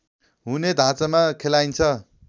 हुने ढाँचामा खेलाइन्छ